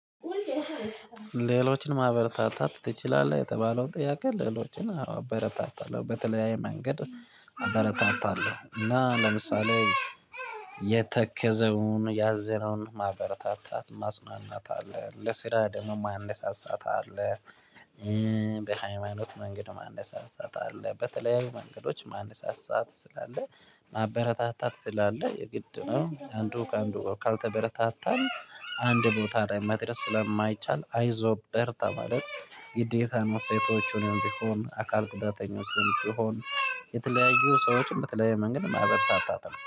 ሌሎችን ማበረታታት ትችላለህ? የተባለውን ጥያቄ ሌሎችን አዎ አበረታታለሁ በተለያየ መንገድ። አበረታታለሁ እና ለምሳሌ የተከዘውን ያዘነውን ማበረታታት ማጽናናት አለ ለስራ ደምም አነሳሳት አለ። በሃይማኖት መንገድ ማንሳሳት አለ። በተለያዩ መንገዶች ማንሳሳት ስላለ ማበረታታት ስላለ የግድ ነው። አንዱ ከአንዱ ካልተበረታታን አንድ ቦታ ላይ መድረስ ስለማይቻል አይዞህ በርታ ማለት ግዴታ ነው። ሴቶችንም ቢሆን አካል ጉዳተኞችንም ቢሆን የተለያዩ ሰዎችን በተለያየ መንገድ ማበረታታት አለብን